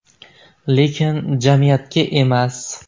Lekin jamiyatga emas.